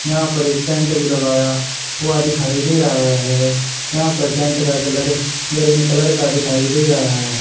यहां पर एक टेंट भी लगाया हुआ दिखाई दे रहा है यहां पर टेंट का कलर ग्रीन कलर का दिखाई दे रहा है।